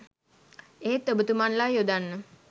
එහෙත් ඔබතුමන්ලා යොදන්න